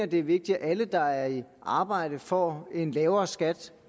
det er vigtigt at alle der er i arbejde får en lavere skat